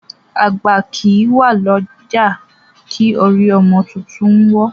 Àgbà kí wá ni ọjà, ki orí ọmọ títún o wọ.